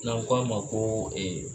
N'an ko a ma ko